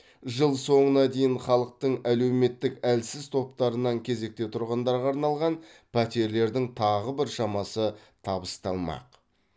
жыл соңына дейін халықтың әлеуметтік әлсіз топтарынан кезекте тұрғандарға арналған пәтерлердің тағы біршамасы табысталмақ